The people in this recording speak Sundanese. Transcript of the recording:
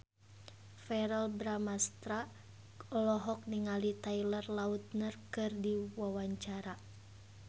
Verrell Bramastra olohok ningali Taylor Lautner keur diwawancara